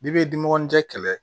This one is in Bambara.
Bibi dimɔgɔninjɛ kɛlɛ